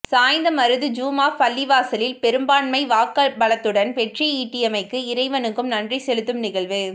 சாய்ந்தமருது ஜும்ஆப் பள்ளிவாசலில் பெரும் பான்மை வாக்குப்பலத்துடன் வெற்றியீட்டிமைக்கு இறைவனுக்கும் நன்றி செலுத்தும் நிகழ்வு